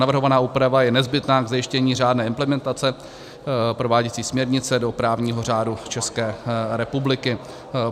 Navrhovaná úprava je nezbytná k zajištění řádné implementace prováděcí směrnice do právního řádu České republiky.